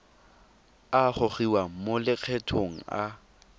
a gogiwang mo lokgethong a